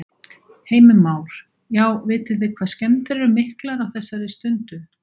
Heimir Már: Já, vitið þið hvað skemmdir eru miklar á þessari stundu?